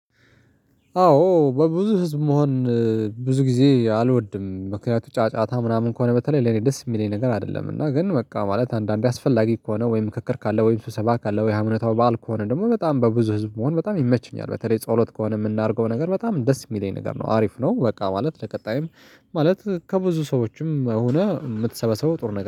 አዎ በብዙ ህዝብ መሆን ብዙ ጊዜ አልወድም። ምክንያቱም ጫጫታ ምናምን ከሆነ በተለይ ለኔ ደስ የሚለኝ ነገር አይደለም። እና ግን በቃ ማለት አንዳንዴ አስፈላጊ ከሆነ ወይ? ምክክር ካለ ወይ? ስሰባ ካለ ወይ? ሃይማኖታዊ በዓል ከሆነ ደግሞ በጣም በብዙ ህዝብ መሆን በጣም ይመችኛል። በተለይ ጸሎት ከሆነ የምናደርገው ነገር በጣም ደስ የሚለኝ ነገር ነው አሪፍ ነው። በቃ ማለት ለቀጣይም ማለት ከብዙ ሰዎችም ሆነ የምትሰበሰበው ጥሩ ነገር